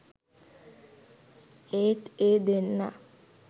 ඒත් ඒ දෙන්නා